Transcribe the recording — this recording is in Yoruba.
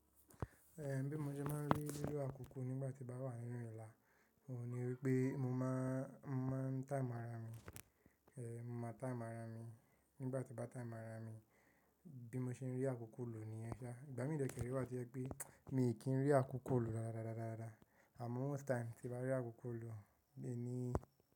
Ẹ̀ bí mo ṣe máa ń rí lílo àkókò nígbà tí mo bá wà nínú ìlà, oun ní wípé mo máa ń time ara mi, ẹ́ mo maa time ara mi, nígbà tí mo bá time ara mi, bí mo ṣe ń rí àkókò lò níyẹn ṣá. Ìgbà mí de ke re ṣẹ̀ rí wá to je pé mi kì í rí àkókò lò dáadáa rararara, àmọ́ once time tí bá rí àkókò lò bí i ní.